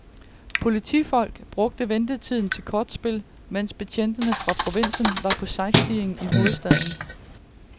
Politifolk brugte ventetiden til kortspil, mens betjente fra provinsen var på sightseeing i hovedstaden.